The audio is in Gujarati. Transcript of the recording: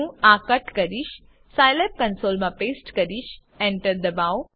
હું આ કટ કરીશ સાઈલેબ કન્સોલમાં પેસ્ટ કરીશ એન્ટર ડબાઓ